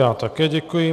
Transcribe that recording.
Já také děkuji.